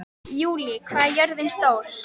Júlí, hvað er jörðin stór?